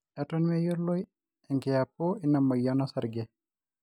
eton meyioloi enkiyapu ina moyian o sarge